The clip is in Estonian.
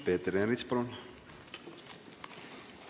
Peeter Ernits, palun!